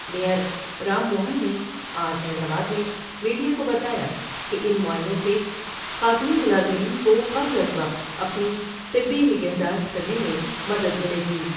Mayor Ram Mohan نے آج Hyderabad میں میڈیا کو بتایا کہ ان معائنوں سے خاتون ملازمین کوقبل از وقت اپنی طبی نگہداشت کرنے میں مدد ملے گی ۔